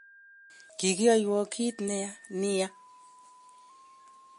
Kikiyoiwon kit neya nia